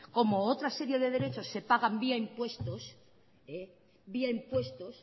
como otra serie de derechos se pagan vía impuestos vía impuestos